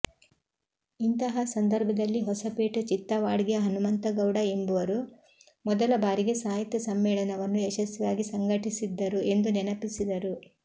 ಇಂತಹ ಸಂದರ್ಭದಲ್ಲಿ ಹೊಸಪೇಟೆ ಚಿತ್ತವಾಡ್ಗಿಯ ಹನುಮಂತಗೌಡ ಎಂಬುವರು ಮೊದಲ ಬಾರಿಗೆ ಸಾಹಿತ್ಯ ಸಮ್ಮೇಳನವನ್ನು ಯಶಸ್ವಿಯಾಗಿ ಸಂಘಟಿಸಿದ್ದರು ಎಂದು ನೆನಪಿಸಿದರು